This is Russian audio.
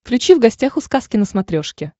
включи в гостях у сказки на смотрешке